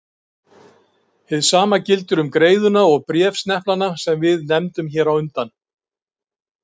Hið sama gildir um greiðuna og bréfsneplana sem við nefndum hér á undan.